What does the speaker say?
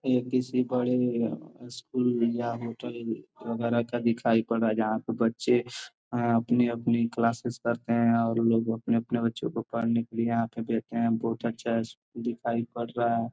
ये किसी बड़े स्कूल या होटल वगेरा का दिखाई पड़ रहा है जहां पे बच्चे अपनी-अपनी क्लासेज करते है और लोग अपने-अपने बच्चों को पढ़ने के लिए यहाँ पे भेजते है बहुत अच्छा स्कूल दिखाई पड़ रहा है।